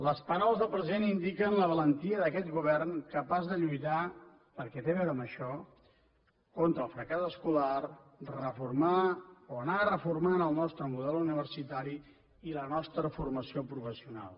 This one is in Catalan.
les paraules del president indiquen la valentia d’aquest govern capaç de lluitar perquè té a veure amb això contra el fracàs escolar reformar o anar reformant el nostre model universitari i la nostra formació professional